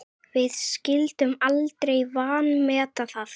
Við skyldum aldrei vanmeta það.